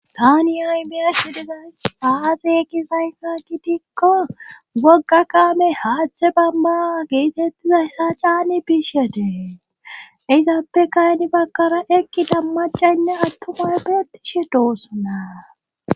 Tani aymiyashi dizays aaze ekisayssa gidikko wogga kaame haachtche bamba geetettizayssa caani biishyedee izaabe kayni bagkara eqqi dammacaynne attumay beetishe doossanaa.